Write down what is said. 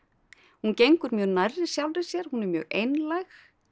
hún gengur mjög nærri sjálfri sér hún er mjög einlæg